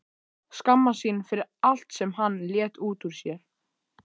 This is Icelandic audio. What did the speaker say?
Skammast sín fyrir allt sem hann lét út úr sér.